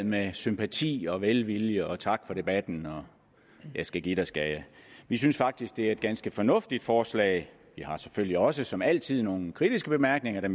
med sympati og velvilje tak for debatten og jeg skal give dig skal jeg vi synes faktisk at det er et ganske fornuftigt forslag vi har selvfølgelig også som altid nogle kritiske bemærkninger